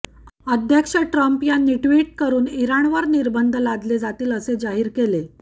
अध्यक्ष ट्रम्प यांनी ट्विटवरून इराणवर निर्बंध लादले जातील असे जाहीर केले